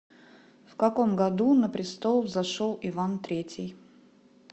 в каком году на престол взошел иван третий